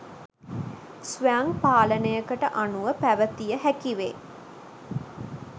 ස්වයං පාලනයකට අනුව පැවැතිය හැකිවේ.